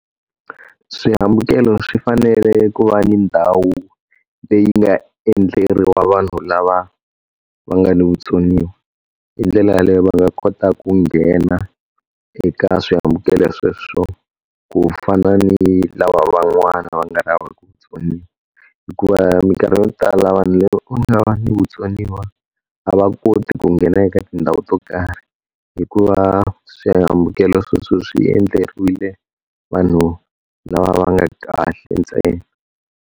Swihambukelo swi fanele ku va ni ndhawu leyi nga endleriwa vanhu lava va nga ni vutsoniwa. Hi ndlela yaleyo va nga kota ku nghena eka swihambukelo sweswo ku fana ni lava van'wana va nga na vutsoniwa. Hikuva minkarhi yo tala vanhu lava nga na vutsoniwa, a va koti ku nghena eka tindhawu to karhi hikuva swihambukelo sweswo swi endleriwile vanhu lava va nga kahle ntsena.